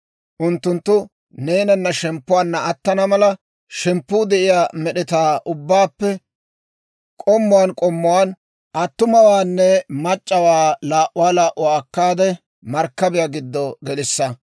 Unttunttu neenana shemppuwaanna attana mala, shemppuu de'iyaa med'etaa ubbaappe k'ommuwaan k'ommuwaan attumawaanne mac'c'awaa laa"uwaa laa"uwaa akkaade, markkabiyaa giddo gelissa.